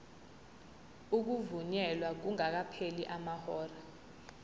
ukuvunyelwa kungakapheli amahora